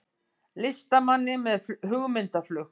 Listamanni með hugmyndaflug